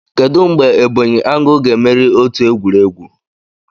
Kedu mgbe Ebonyi angle ga-emeri otu egwuregwu?